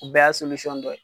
O bɛɛ y'a dɔ ye.